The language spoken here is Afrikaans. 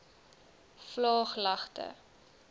vlaaglagte